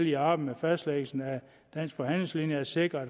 i arbejdet med fastlæggelsen af dansk forhandlingslinje at sikre